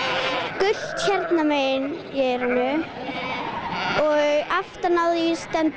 gult hérna megin í eyranu og aftan á því stendur